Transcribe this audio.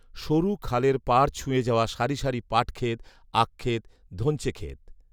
সরু খালের পাড় ছুঁয়ে যাওয়া সারি সারি পাটক্ষেত, আখক্ষেত, ধঞ্চেক্ষেত